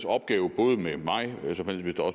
opgave både med mig